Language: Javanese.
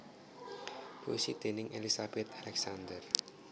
Puisi déning Elizabeth Alexander